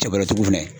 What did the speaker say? Cɛkɔrɔ fɛnɛ